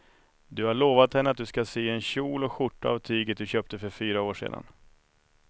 Du har lovat henne att du ska sy en kjol och skjorta av tyget du köpte för fyra år sedan.